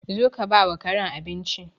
Zo ka bawa Karen abinci.